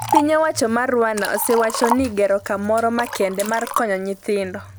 piny owacho mar Rwanda osewacho ni gero kamoro makende mar konyo nyithindo .